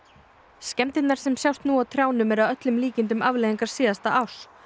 skemmdirnar sem sjást nú á trjánum eru að öllum líkindum afleiðingar síðasta árs